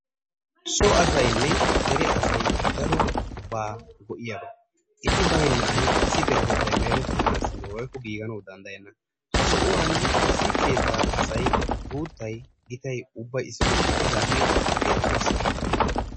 So asaynne dere asay darobaa go"iyaba eti baynnan issi deretettayi merettanaassi woykko giiganaassi danddayenna. Ha sohuwan issi keettaa asayi guuttayi, gitayi ubbayi issippe shiiqidaagee beettes.